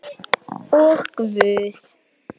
Og Guð.